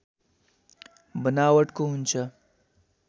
बनावटको हुन्छ